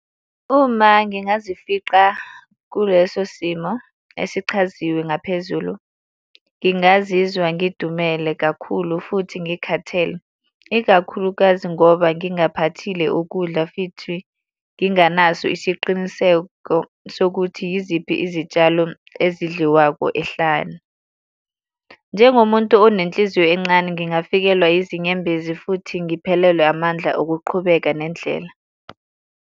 Uma ngingazifica kuleso simo esichaziwe ngaphezulu, ngingazizwa ngidumele kakhulu futhi ngikhathele, ikakhulukazi ngoba ngingaphathile ukudla futhi nginganaso isiqiniseko sokuthi yiziphi izitshalo ezidliwako ehlane. Njengomuntu onenhliziyo encane ngingafikelwa yizinyembezi futhi ngiphelelwe amandla okuqhubeka nendlela.